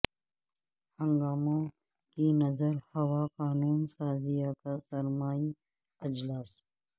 ہنگاموں کی نذر ہوا قانون سازیہ کا سرمائی اجلاس